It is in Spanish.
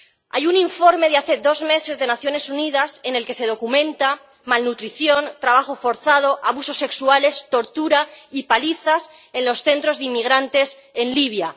Hay un informe de hace dos meses de las Naciones Unidas en el que se documenta malnutrición, trabajo forzado, abusos sexuales, tortura y palizas en los centros de inmigrantes en Libia.